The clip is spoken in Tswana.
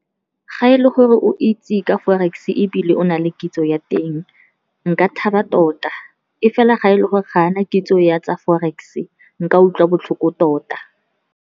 Ga e le gore o itse ka Forex-e ebile o na le kitso ya teng, nka thaba tota, e fela ga e le gore ga ana kitso ya tsa Forex-e nka utlwa botlhoko tota.